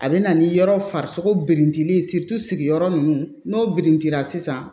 A bɛ na ni yɔrɔ farisogo birinti sigiyɔrɔ ninnu n'o birintira sisan